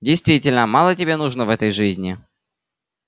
действительно мало тебе нужно в этой жизни